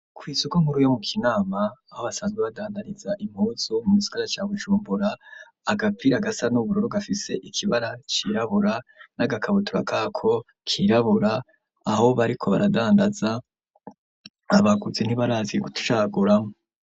kw'isoko nkuru, yo mu Kinama, aho basanzwe badandariza impuzu, mu gisagara ca Bujumbura, agapira gasa n'ubururu, gafise ikibara cirabura, n'agakabutura kako, kirabura, aho bariko baradandaza, abaguzi ntibarazicaguramwo.